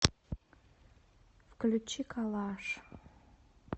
включи калаш